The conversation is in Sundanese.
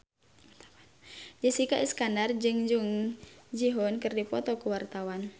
Jessica Iskandar jeung Jung Ji Hoon keur dipoto ku wartawan